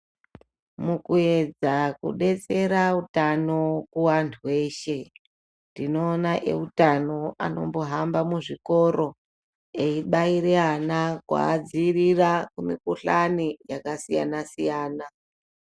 Mukuedza kudetsera utano kuwantu weshe, tinoona eutano anombohamba muzvikoro, eyibaire ana kuadziirira kumikuhlani yakasiyana-siyana.